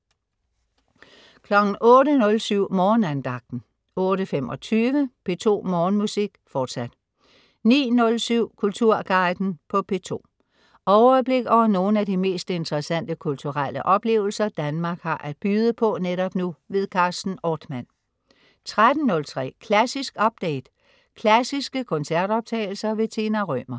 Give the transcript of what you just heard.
08.07 Morgenandagten 08.25 P2 Morgenmusik, fortsat 09.07 Kulturguiden på P2. Overblik over nogle af de mest interessante kulturelle oplevelser, Danmark kan byde på netop nu. Carsten Ortmann 13.03 Klassisk update. Klassiske koncertoptagelser. Tina Rømer